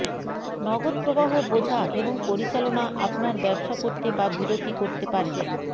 নগদ প্রবাহ বোঝা এবং পরিচালনা আপনার ব্যবসা করতে বা বিরতি করতে পারেন